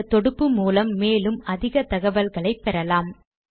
இந்த தொடுப்பு மூலம் மேலும் அதிக தகவல்களை பெறலாம்